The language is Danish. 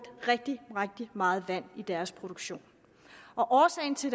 rigtig rigtig meget vand i deres produktion årsagen til